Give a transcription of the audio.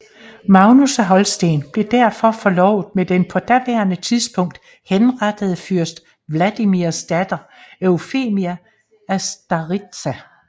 Magnus af Holsten blev derfor forlovet med den på daværende tidspunkt henrettede fyrst Vladimirs datter Eufemia af Staritsa